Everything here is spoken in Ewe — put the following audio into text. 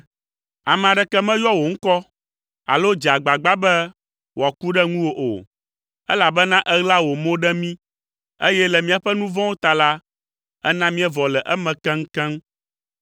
Ame aɖeke meyɔa wò ŋkɔ alo dzea agbagba be wòaku ɖe ŋuwò o, elabena èɣla wò mo ɖe mí, eye le míaƒe nu vɔ̃wo ta la, èna míevɔ le eme keŋkeŋ,